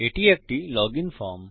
এটি একটি login form